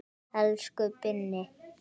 Elsku Binni.